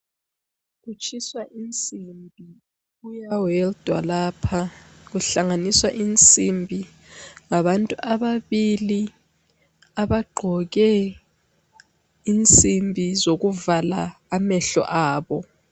Kutshiswa insimbi, kuyabe weldwa lapha. Kuhlanganiswa insimbi ngabantu ababili abagqoke insimbi zokuvala amehlo abo.